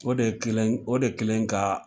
O de kelen o de kelen ka